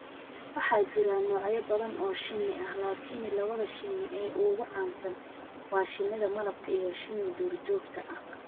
Waxaa jira noocyo badan oo shinni ah, laakiin labada shinni ee ugu caansan waa shinida malabka iyo shinni duurjoogta ah.